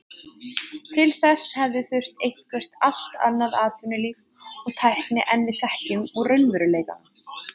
Til þess hefði þurft eitthvert allt annað atvinnulíf og tækni en við þekkjum úr raunveruleikanum.